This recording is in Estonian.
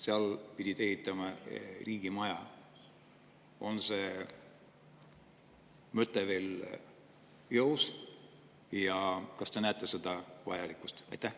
Seal pidi ehitatama riigimaja, on see mõte veel jõus ja kas te näete selle vajalikkust?